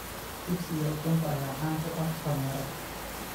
Chips iyo ukunta ayaa caan ku ah dhalinyarada.